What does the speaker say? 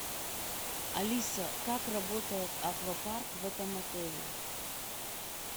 алиса как работает аквапарк в этом отеле